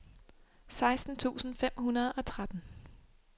seksten tusind fem hundrede og tretten